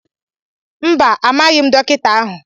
mbá, amaghi m dokịta ahu